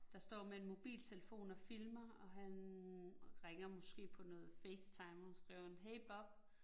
Der står med en mobiltelefon og filmer, og han ringer måske på noget FaceTime, og skriver han hey Bob